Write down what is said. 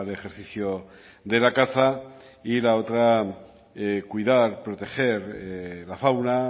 ejercicio de la caza y la otra cuidar proteger la fauna